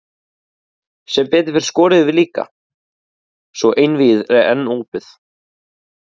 Sem betur fer skoruðum við líka, svo einvígið er enn opið.